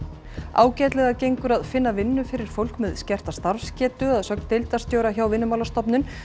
ágætlega gengur að finna vinnu fyrir fólk með skerta starfsgetu að sögn deildarstjóra hjá Vinnumálastofnun